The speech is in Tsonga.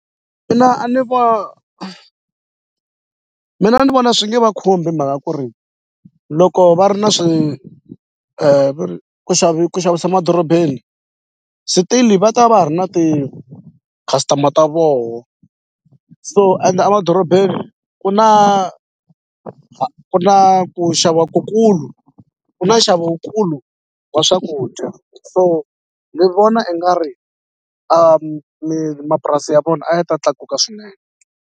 a ni mina ni vona swi nge va khumbi himhaka ku ri loko va ri na veri ku ku xavisa madorobeni still-i va ta va ha ri na ti-customer ta voho so ende a madorobeni ku na ku na ku xava kukulu ku na nxavo wu kulu wa swakudya so ni vona i nga ri mapurasi ya vona a yi ta tlakuka swinene.